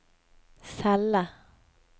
celle